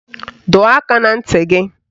Dọọ aka na ntị gị